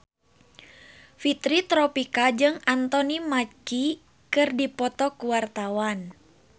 Fitri Tropika jeung Anthony Mackie keur dipoto ku wartawan